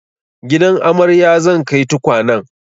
Gidan amaryar zan kai tukwanen